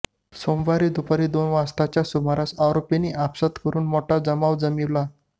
सोमवारी दुपारी दोन वाजताच्या सुमारास आरोपींनी आपसांत करून मोठा जमाव जमविला